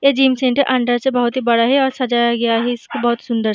ए gym centre अंदर से बहुत ही बड़ा है और सजाया गया है इसको बहुत ही सुन्दर --